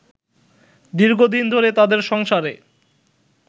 দীর্ঘদিন ধরে তাদের সংসারে